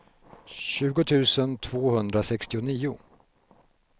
tjugo tusen tvåhundrasextionio